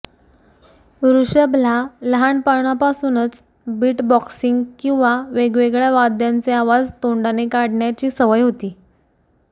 ऋषभला लहाणपणापासूनच बिटबॉक्सिंग किंवा वेगवेगळ्या वाद्यांचे आवाज तोंडाने काढण्याची सवय होती